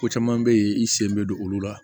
Ko caman be yen i sen bɛ don olu la